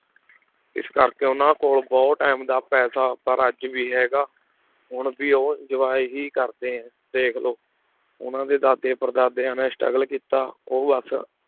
ਇਸ ਕਰਕੇ ਉਹਨਾਂ ਕੋਲ ਬਹੁਤ time ਦਾ ਪੈਸਾ ਪਰ ਅੱਜ ਵੀ ਹੈਗਾ, ਹੁਣ ਵੀ ਉਹ enjoy ਹੀ ਕਰਦੇ ਹੈ ਦੇਖ ਲਓ, ਉਹਨਾਂ ਦੇ ਦਾਦੇ ਪੜ੍ਹਦਾਦਿਆਂ ਨੇ struggle ਕੀਤਾ ਉਹ ਬਸ